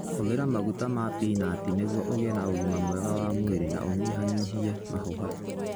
Hũthĩra maguta ma pinati nĩguo ũgĩe na ũgima mwega wa mwĩrĩ na ũnyihanyihie mahũha.